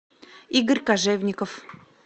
игорь кожевников